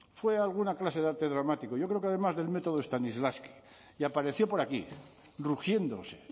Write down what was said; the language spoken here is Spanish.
fue a alguna clase de arte dramático yo creo que además del método stanislavski y apareció por aquí rugiéndose